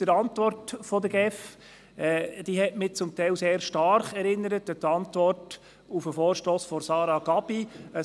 Die Antwort der GEF hat mich zum Teil sehr stark an die Antwort auf den Vorstoss von Sarah Gabi erinnert.